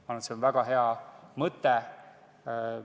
Ma arvan, et see on väga hea mõte.